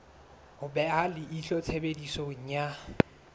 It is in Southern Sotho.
ho beha leihlo tshebediso ya